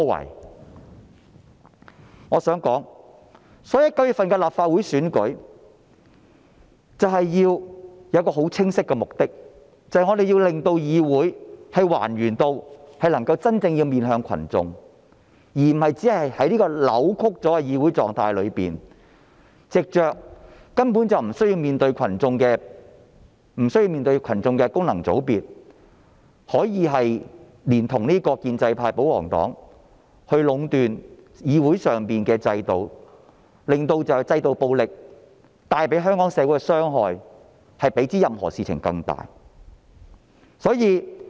因此，我想說的是，對於9月的立法會選舉，我們有一個很清晰的目的，就是要令議會還原至能夠真正面向群眾，而不是在這種扭曲的議會狀態中，藉着根本無須面對群眾的功能界別，連同建制派、保皇黨壟斷議會制度，令制度暴力比任何事情對香港社會造成更大的傷害。